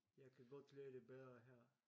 Jeg kan godt lide det bedre her